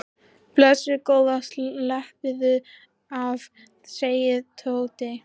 Blessuð góða slappaðu af sagði Tóti.